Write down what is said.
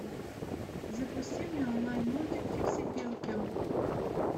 запусти мне онлайн мультик фиксипелки